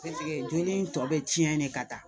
joli in tɔ bɛ tiɲɛ de ka taa